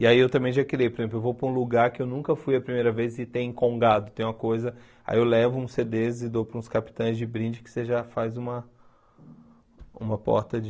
E aí eu também já criei, por exemplo, eu vou para um lugar que eu nunca fui a primeira vez e tem congado, tem uma coisa, aí eu levo uns cê dês e dou para uns capitães de brinde que você já faz uma uma porta de...